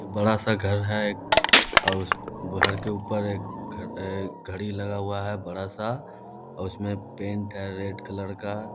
एक बड़ा-सा घर है। एक और उस घर के ऊपर एक घड़ी लगा हुआ है बड़ा-सा और उसमे पेंट है रेड कलर का।